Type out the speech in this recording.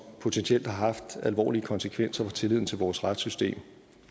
potentielt har haft alvorlige konsekvenser for tilliden til vores retssystem og